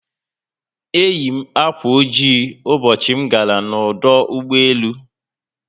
Eyi m akwa ojii Ụbọchị m gara n'ọdụ ụgbọelu